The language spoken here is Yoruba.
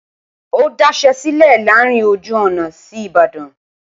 ó daṣẹ́ sílẹ̀ láàárín ojú ọ̀nà sí Ìbàdàn